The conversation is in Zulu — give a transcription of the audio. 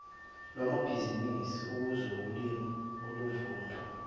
lwamabhizinisi ezokulima oluvuna